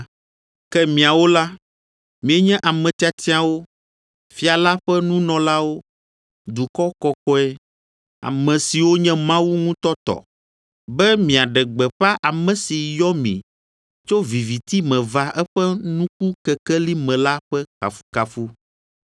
Ke miawo la, mienye ame tiatiawo, fia la ƒe nunɔlawo, dukɔ kɔkɔe, ame siwo nye Mawu ŋutɔ tɔ, be miaɖe gbeƒã ame si yɔ mi tso viviti me va eƒe nukukekeli me la ƒe kafukafu.